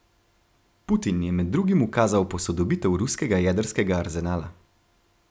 Putin je med drugim ukazal posodobitev ruskega jedrskega arzenala.